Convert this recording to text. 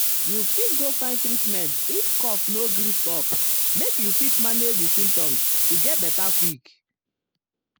you fit go find treatment if cough no gree stop make you fit manage di symptoms to get beta quick. um